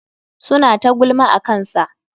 Suna ta gulma akansa.